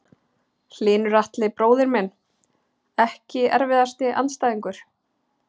Hlynur Atli bróðir minn Ekki erfiðasti andstæðingur?